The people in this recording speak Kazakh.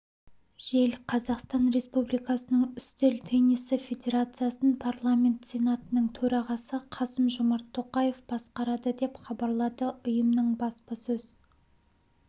жел қазақстан республикасының үстел теннисі федерациясын парламент сенатының төрағасы қасым-жомарт тоқаев басқарады деп хабарлады ұйымның баспасөз